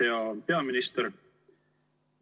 Hea peaminister!